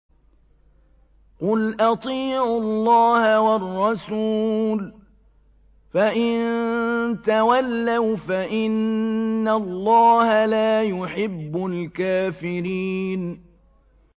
قُلْ أَطِيعُوا اللَّهَ وَالرَّسُولَ ۖ فَإِن تَوَلَّوْا فَإِنَّ اللَّهَ لَا يُحِبُّ الْكَافِرِينَ